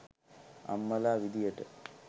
අම්මලා විදියට